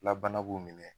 Labana b'u minɛ